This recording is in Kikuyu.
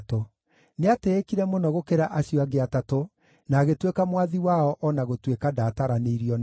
Nĩatĩĩkire mũno gũkĩra acio angĩ Atatũ na agĩtuĩka mwathi wao o na gũtuĩka ndaataranĩirio nao.